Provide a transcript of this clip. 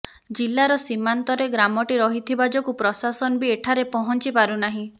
ଜିଲ୍ଲାର ସୀମାନ୍ତରେ ଗ୍ରାମଟି ରହିଥିବା ଯୋଗୁଁ ପ୍ରଶାସନ ବି ଏଠାରେ ପହଞ୍ଚି ପାରୁନାହିଁ